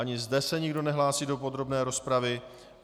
Ani zde se nikdo nehlásí do podrobné rozpravy.